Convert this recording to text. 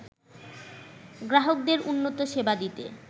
গ্রাহকদের উন্নত সেবা দিতে